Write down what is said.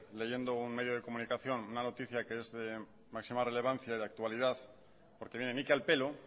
leyendo un medio de comunicación una noticia que es de máxima relevación de actualidad porque viene ni que al pelo